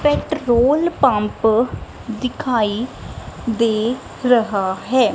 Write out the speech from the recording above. Petrol pump ਦਿਖਾਈ ਦੇ ਰਹਾ ਹੈ।